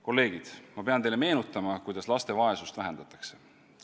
Kolleegid, ma pean teile meenutama, kuidas laste vaesust vähendatakse.